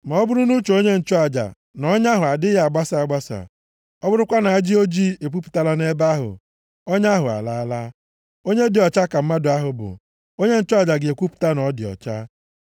Ma ọ bụrụ nʼuche onye nchụaja na ọnya ahụ adịghị abasa abasa, ọ bụrụkwa na ajị ojii epupụtala nʼebe ahụ, ọnya ahụ alaala. Onye dị ọcha ka mmadụ ahụ bụ. Onye nchụaja ga-ekwupụta na ọ dị ọcha.